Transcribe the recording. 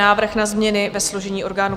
Návrh na změny ve složení orgánů